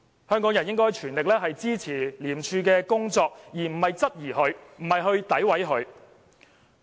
香港人應該全力支持廉署的工作，而不是質疑和詆毀廉署。